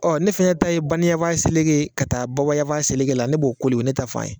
Ɔ ne fɛnɛ ta ye baniyanfan seleke ka taa babayanfan seleke la ne b'o koli o ye ne ta fan ye.